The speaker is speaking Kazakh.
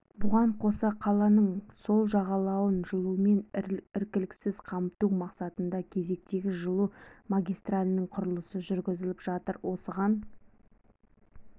бұған қоса қаланың сол жағалауын жылумен іркіліссіз қамту мақсатында кезектегі жылу магистралінің құрылысы жүргізіліп жатыр осыған